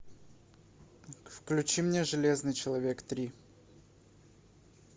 включи мне железный человек три